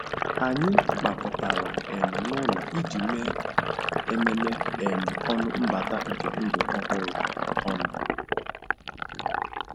Anyị gbakọtara um n'ụlọ iji mee ememe um ọnụ mbata nke ndụ ọhụrụ ọnụ.